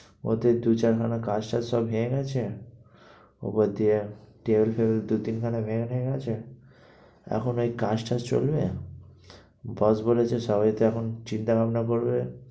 ওতেই দু চারখানা কাচ টাচ সব ভেঙে গেছে ওপর দিয়ে table ফেবিল দু তিনখানা ভেঙে ফেঙে গেছে এখন এই কাজটা চলবে? boss বলেছে সবাইকে এখন চিন্তা ভাবনা করবে,